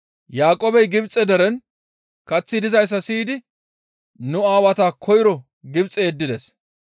Yaaqoobey Gibxe deren kaththi dizayssa siyidi nu aawata koyro Gibxe yeddides.